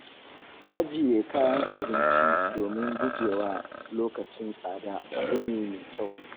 Ajiye kayan abinci da domin gujewa lokacin tsada abu ne mai kyau.